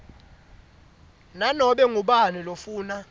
nanobe ngubani lofuna